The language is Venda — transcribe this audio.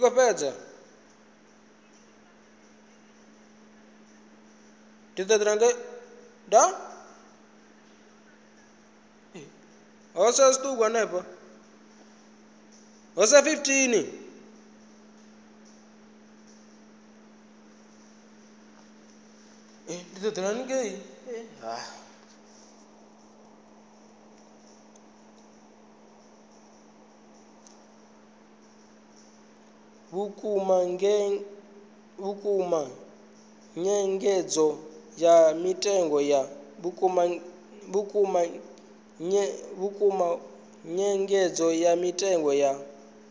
vhukuma nyengedzo ya mitengo ya